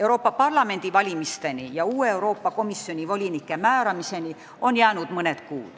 Euroopa Parlamendi valimisteni ja uue Euroopa Komisjoni volinike määramiseni on jäänud mõni kuu.